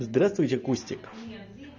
здравствуйте кустик